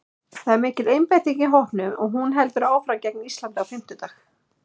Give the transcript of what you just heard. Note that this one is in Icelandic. Það er mikil einbeiting í hópnum og hún heldur áfram gegn Íslandi á fimmtudag.